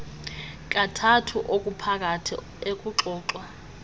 kathathu okuphakathi ekuxoxwa